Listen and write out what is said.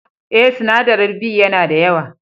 Eh, sinadarin B ya na da yawa.